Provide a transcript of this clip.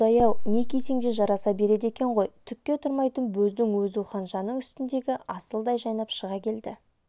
құдай-ау не кисең де жараса береді екен ғой түкке тұрмайтын бөздің өзу ханшаның үстіндегі асылдай жайнап шыға келді